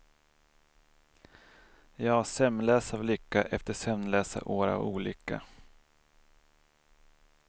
Ja, sömnlös av lycka efter sömnlösa år av olycka.